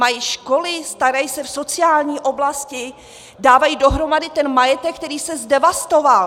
Mají školy, starají se v sociální oblasti, dávají dohromady ten majetek, který se zdevastoval.